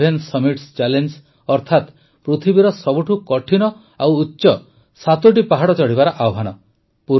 seven summits challenge ଅର୍ଥାତ ପୃଥିବୀର ସବୁଠୁ କଠିନ ଓ ଉଚ୍ଚ ସାତଟି ପାହାଡ଼ ଚଢ଼ିବାର ଆହ୍ୱାନ